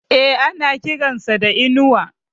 E, ana kiran sa da Inuwa.